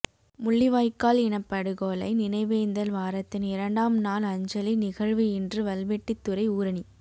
முள்ளிவாய்க்கால் இனப்படுகொலை நினைவேந்தல் வாரத்தின் இரண்டாம் நாள் அஞ்சலி நிகழ்வு இன்று வல்வெட்டித்துறை ஊறணி